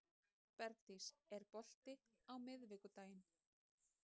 Bergdís, er bolti á miðvikudaginn?